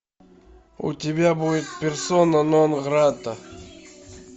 у тебя будет персона нон грата